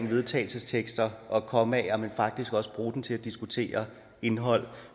vedtagelsestekster og kommaer men faktisk også bruge dem til at diskutere indhold